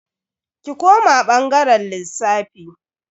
Ki koma bangaren lissafi.